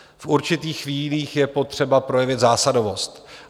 V určitých chvílích je potřeba projevit zásadovost.